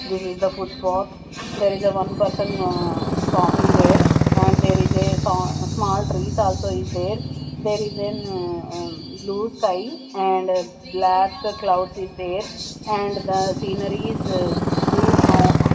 there is the footpath there is the one person ahh walking there and there is a sa small trees also is there there is an blue sky and black clouds is there and the scenary is blue ahh--